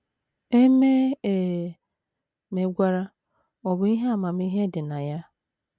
E mee e megwara, ọ̀ bụ ihe amamihe dị na ya?